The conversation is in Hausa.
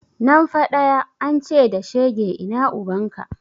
Nan fa ɗaya, an ce da shege ina ubanka?